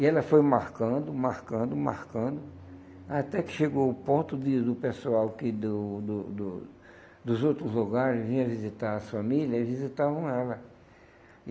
E ela foi marcando, marcando, marcando, até que chegou ao ponto de do pessoal que do do do dos outros lugares vinha visitar as família e visitavam ela.